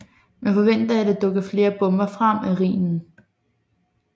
Man forventer at der dukker flere bomber frem af Rhinen